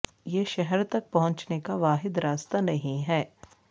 یہ شہر تک پہنچنے کا واحد راستہ نہیں ہے